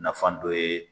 Nafan dɔ ye